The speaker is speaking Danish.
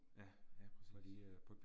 Ja, ja præcis